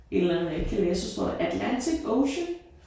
Et eller andet jeg ikke kan læse så står der Atlantic Ocean